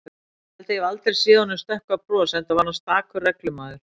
Ég held ég hafi aldrei séð honum stökkva bros, enda var hann stakur reglumaður.